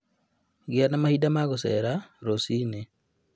Gĩa na mahinda ma gũcera rũciinĩ